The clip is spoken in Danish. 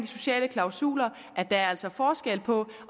sociale klausuler at der altså er forskel på